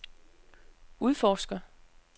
udforsker